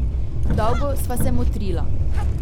Dolgo sva se motrila.